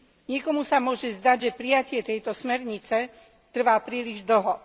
Niekomu sa môže zdať, že prijatie tejto smernice trvá príliš dlho.